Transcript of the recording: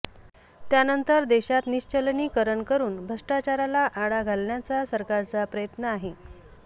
त्यानंतर देशात निश्चलनीकरण करून भ्रष्टाचाराला आळा घालण्याचा सरकारचा प्रयत्न आहे